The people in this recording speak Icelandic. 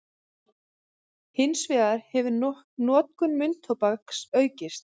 Hins vegar hefur notkun munntóbaks aukist.